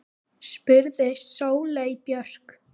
spurði Sóley Björk.